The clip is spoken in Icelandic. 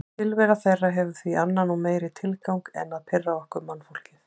Tilvera þeirra hefur því annan og meiri tilgang en að pirra okkur mannfólkið.